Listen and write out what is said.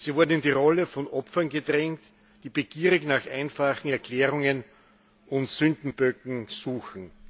Sie wurden in die Rolle von Opfern gedrängt, die begierig nach einfachen Erklärungen und Sündenböcken suchen.